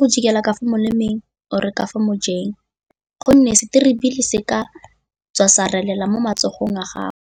go jika ka fa molemeng or-re ka fa mojeng gonne seterebele se ka tswa sa relela mo matsogong a gago.